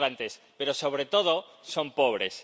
Son migrantes, pero, sobre todo, son pobres.